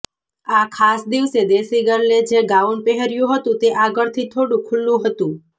આ ખાસ દિવસે દેશી ગર્લે જે ગાઉન પહેર્યું હતું તે આગળથી થોડું ખુલ્લું હતું